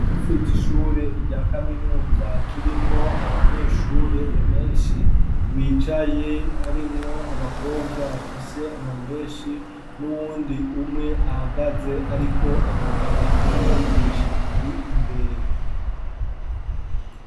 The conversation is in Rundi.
Basice ishure irya kaminunza kirimwo abanyeshure ebenshi bicaye arimwo abakobwa bafise amamenshi n'uwundi umwe ahagaze, ariko avugana n'umwigisha ari imbere.